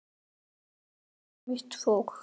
Og það var nú það.